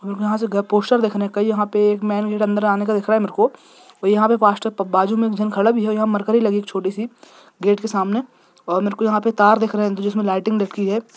मेरेको यहां पे एक पोस्टर देखने का कहीं यहां पर मेंन गेट अंदर जाने का दिख रहा है मेरे को और यहां पर बाजू में इंसान खड़ा भी है यहां मरकरी लगी एक छोटी सी गेट के सामने और मैरेको तार दिख रहा है जिसमें लाइटिंग लगी है।